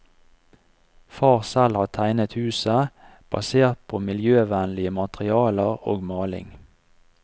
Far selv har tegnet huset, basert på miljøvennlige materialer og maling.